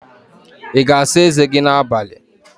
Ị ga-asa eze gị n'abalị?